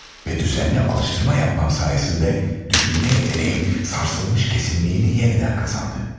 Ve düzənli alıştırma yapmam sayesinde düşünmə yeteneğim sarsılmış kesinliyini yenidən qazandı.